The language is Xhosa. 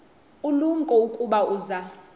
ulumko ukuba uza